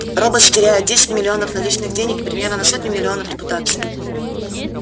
роботс теряет десять миллионов наличных денег и примерно на сотню миллионов репутации